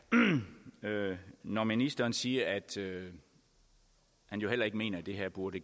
når ministeren siger at han jo heller ikke mener at det her burde